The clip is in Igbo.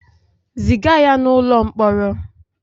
Ziga ya n'ụlọ mkpọrọ!